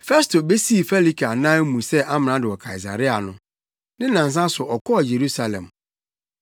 Festo besii Felike anan mu sɛ amrado wɔ Kaesarea no, ne nnansa so no ɔkɔɔ Yerusalem.